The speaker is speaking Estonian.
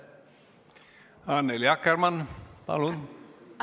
Annely Akkermann, palun!